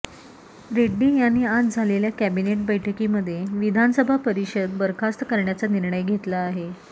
रेड्डी यांनी आज झालेल्या कॅबिनेट बैठकीमध्ये विधानसभा परिषद बरखास्त करण्याचा निर्णय घेतला आहे